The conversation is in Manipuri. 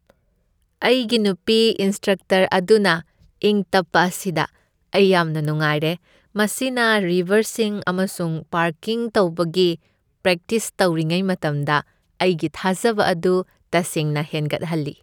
ꯑꯩꯒꯤ ꯅꯨꯄꯤ ꯏꯟꯁꯇ꯭ꯔꯛꯇꯔ ꯑꯗꯨꯅ ꯏꯪ ꯇꯞꯄ ꯑꯁꯤꯗ ꯑꯩ ꯌꯥꯝꯅ ꯅꯨꯡꯉꯥꯏꯔꯦ, ꯃꯁꯤꯅ ꯔꯤꯚꯔꯁꯤꯡ ꯑꯃꯁꯨꯡ ꯄꯥꯔꯀꯤꯡ ꯇꯧꯕꯒꯤ ꯄ꯭ꯔꯦꯛꯇꯤꯁ ꯇꯧꯔꯤꯉꯩ ꯃꯇꯝꯗ ꯑꯩꯒꯤ ꯊꯥꯖꯕ ꯑꯗꯨ ꯇꯁꯦꯡꯅ ꯍꯦꯟꯒꯠꯍꯜꯂꯤ ꯫